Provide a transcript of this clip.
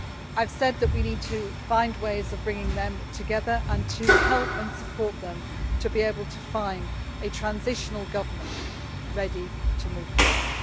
I have said that we need to find ways of bringing them together and to help and support them to be able to find a transitional government that is ready to move forward.